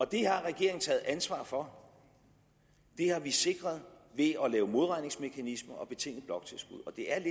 det har regeringen taget ansvar for det har vi sikret ved at lave modregningsmekanismer og betingede bloktilskud og det er